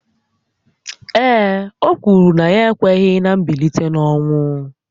Ee e, o kwuru na ya ekweghị ná mbilite n’ọnwụ